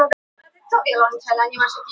Ein kökusneið á dag